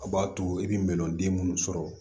A b'a to i bɛ mɛlɔnden minnu sɔrɔ